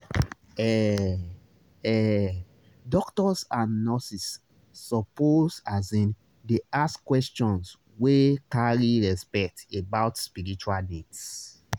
heh heh doctors and nurses suppose asin dey ask questions wey carry respect about spiritual needs